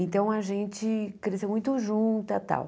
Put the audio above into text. Então, a gente cresceu muito juntas e tal.